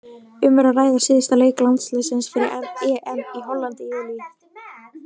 Um er að ræða síðasta leik landsliðsins fyrir EM í Hollandi í júlí.